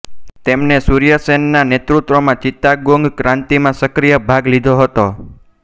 તેમણે સૂર્ય સેનના નેતૃત્વમાં ચિત્તાગોંગ ક્રાંતિમાં સક્રિય ભાગ લીધો હતો